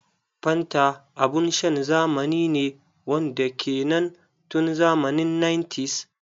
Fanta abun shan zamani ne wanda ya ke nan tun zamani 1900s.